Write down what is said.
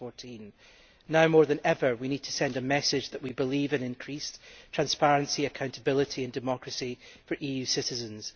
2014. Now, more than ever, we need to send a message that we believe in increased transparency, accountability and democracy for EU citizens.